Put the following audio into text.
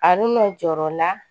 A n'o jɔrɔ la